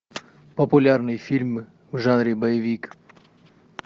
популярные фильмы в жанре боевик